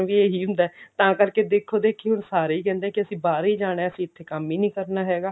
ਵੀ ਇਹੀ ਹੁੰਦਾ ਤਾਂ ਕਰਕੇ ਦੇਖ ਦੇਖੀ ਹੁਣ ਸਾਰੇ ਹੀ ਕਹਿੰਦੇ ਕਿ ਅਸੀਂ ਬਾਹਰ ਹੀ ਜਾਣਾ ਅਸੀਂ ਇੱਥੇ ਕੰਮ ਹੀ ਨੀ ਕਰਨਾ ਹੈਗਾ